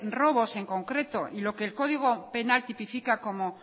robos en concreto lo que el código penal tipifica como